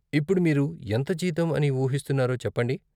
ఇప్పుడు మీరు ఎంత జీతం అని ఊహిస్తున్నారో చెప్పండి.